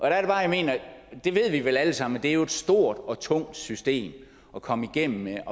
jeg mener det ved vi vel alle sammen at det jo er et stort og tungt system at komme igennem med